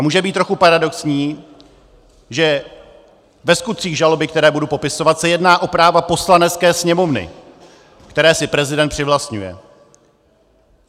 A může být trochu paradoxní, že ve skutcích žaloby, které budu popisovat, se jedná o práva Poslanecké sněmovny, která si prezident přivlastňuje.